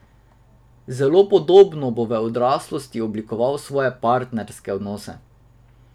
Zelo podobno bo v odraslosti oblikoval svoje partnerske odnose.